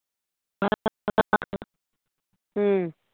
ਹਮ